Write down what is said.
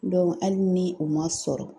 hali ni u ma sɔrɔ